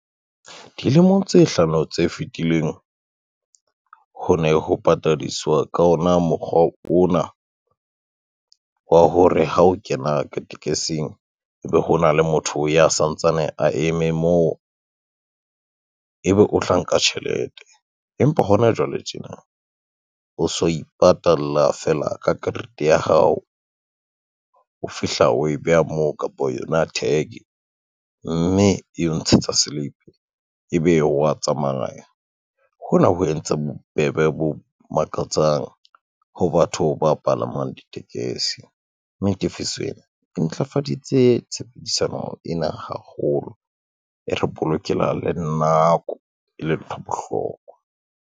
Dilemong tse hlano tse fitileng, ho ne ho patadiswa ka hona mokgwa ona, wa hore ha o kena ka tekesing ebe hona le motho ya santsane a eme moo, ebe o tla nka tjhelete empa hona jwale tjena o so ipatalla fela ka karete ya hao, o fihla o e beha moo kapa yona tag mme eo ntshetsa silipi, ebe wa tsamaya. Hona ho entse bobebe bo makatsang ho batho ba palamang ditekesi, mme tefiso ena e ntlafaditse tshebedisano ena haholo, e re bolokela le nako e le ntho bohlokwa.